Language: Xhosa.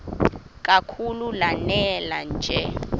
kakhulu lanela nje